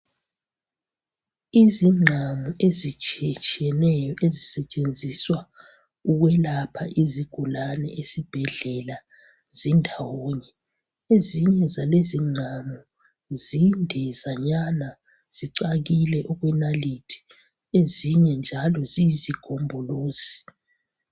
Izingqamu ezitshiye tshiyeneyo ezisetshenziswa ukuyelapha izigulani esibhedlela zindawonye ezinye zalezi ngqamu zinde zanyana zicakile okwenalithi ezinye njalo ziyisigombolizi